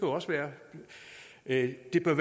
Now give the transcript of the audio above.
også være at det er